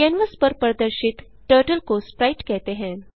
canvas पर प्रदर्शित turtle को स्प्राइट कहते हैं